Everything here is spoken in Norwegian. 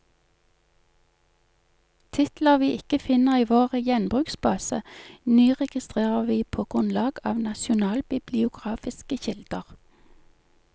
Titler vi ikke finner i vår gjenbruksbase, nyregistrerer vi på grunnlag av nasjonalbibliografiske kilder.